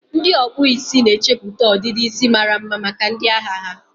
ndị ọkpụ isi na-echeputa ọdịdị isi mara mma maka ndị ahịa ha.